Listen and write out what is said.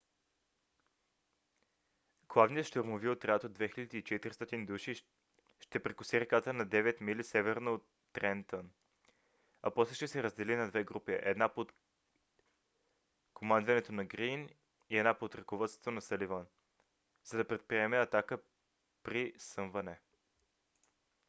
главният щурмови отряд от 2 400 души ще прекоси реката на 9 мили северно от трентън а после ще се раздели на две групи една под командването на грийн и една под ръководството на съливан за да предприеме атака преди съмване